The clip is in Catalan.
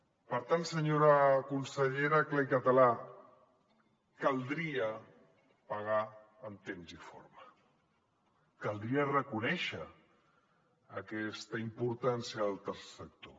per tant senyora consellera clar i català caldria pagar en temps i forma caldria reconèixer aquesta importància del tercer sector